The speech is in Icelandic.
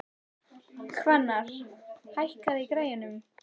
Hvannar, hækkaðu í græjunum.